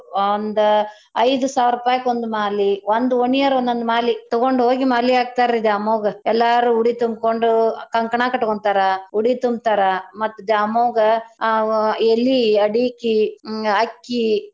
ಒಂದ್ ಐದ್ ಸಾವ್ರರೂಪಾಯ್ಕ ಒಂದ್ ಮಾಲಿ ಒಂದ್ ಓಣಿಯರ್ ಒಂದೊಂದ್ ಮಾಲಿ ತಗೊಂಡ ಹೋಗಿ ಮಾಲಿ ಹಾಕ್ತಾರೀ ದ್ಯಾಮವ್ವಗ ಎಲ್ಲಾರೂ ಉಡಿ ತುಂಬ್ಕೊಂಡ್ ಕಂಕ್ಣಾ ಕಟ್ಕೊಂತಾರ ಉಡಿ ತುಂಬ್ತಾರ ಮತ್ತ ದ್ಯಾಮವ್ವಗ ಅ ಎಲಿ ಅಡಿಕಿ ಹ್ಮ್ ಅಕ್ಕಿ.